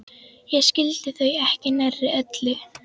Ég skildi þau ekki nærri öll.